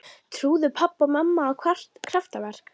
Trúðu pabbi og mamma á kraftaverk?